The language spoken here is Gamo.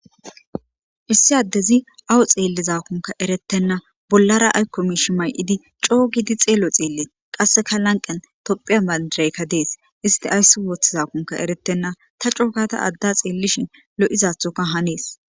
issi addezi awu xeellizakunka erettenna bollara aykkomishi may7idi coo gidi xeelo xeelle qasseka lanqen tophiya mandiraykka dees isti ayssi woththizakunka erettenna ta cookata adda xeellishin lo7izathoka hanees